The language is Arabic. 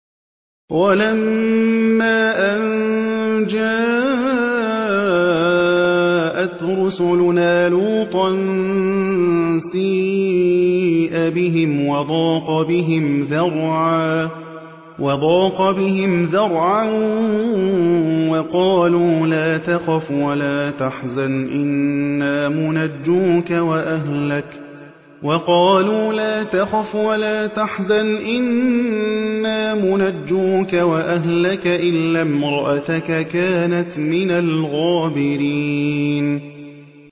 وَلَمَّا أَن جَاءَتْ رُسُلُنَا لُوطًا سِيءَ بِهِمْ وَضَاقَ بِهِمْ ذَرْعًا وَقَالُوا لَا تَخَفْ وَلَا تَحْزَنْ ۖ إِنَّا مُنَجُّوكَ وَأَهْلَكَ إِلَّا امْرَأَتَكَ كَانَتْ مِنَ الْغَابِرِينَ